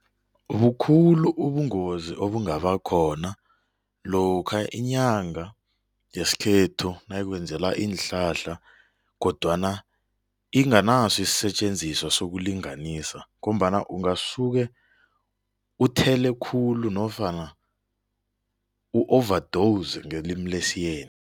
Bukhulu ubungozi obungabakhona lokha inyanga yesikhethu nayikwenzela iinhlahla kodwana inganaso isisetjenziswa sokulinganisa ngombana ungasuke uthele khulu nofana u-overdose ngelimi lesiyeni.